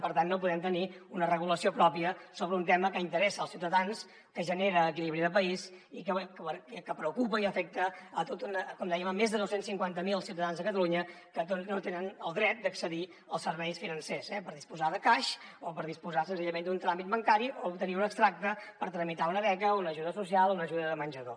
per tant no podem tenir una regulació pròpia sobre un tema que interessa els ciutadans que genera equilibri de país i que preocupa i afecta com dèiem a més de dos cents i cinquanta miler ciutadans de catalunya que no tenen el dret d’accedir als serveis financers eh per disposar de cash o per disposar senzillament d’un tràmit bancari o obtenir un extracte per tramitar una beca o una ajuda social una ajuda de menjador